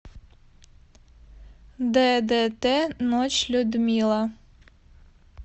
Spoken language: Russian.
ддт ночь людмила